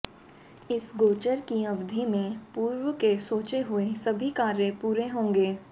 इस गोचर की अवधि में पूर्व के सोचे हुए सभी कार्य पूरे होंगे